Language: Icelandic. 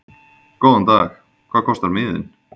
Góðan dag. Hvað kostar miðinn?